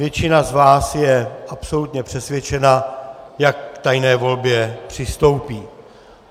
Většina z vás je absolutně přesvědčena, jak k tajné volbě přistoupí.